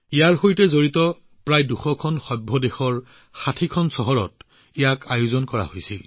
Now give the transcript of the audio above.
ইয়াৰ সৈতে জড়িত প্ৰায় ২০০খন বৈঠক দেশৰ ৬০খন চহৰত আয়োজন কৰা হৈছিল